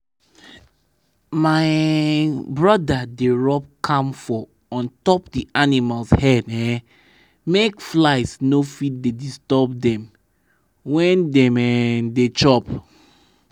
my um brother dey rub camphor on top d animals head um make flies no fit dey disturb dem when dem um dey chop.